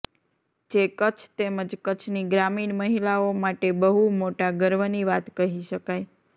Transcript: જે કચ્છ તેમજ કચ્છની ગ્રામીણ મહિલાઓ માટે બહુ મોટા ગર્વની વાત કહી શકાય